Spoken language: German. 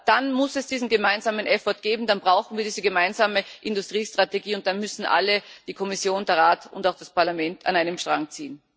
Aber dann muss es diesen gemeinsamen effort geben, dann brauchen wir diese gemeinsame Industriestrategie, und dann müssen alle die Kommission, der Rat und auch das Parlament an einem Strang ziehen.